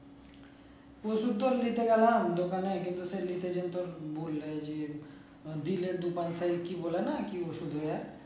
ওষুধ তো নিতে গেলাম দোকানে কিন্তু সে নিতে যেতে বললো যে দিলে কি বলে না কি ওষুধ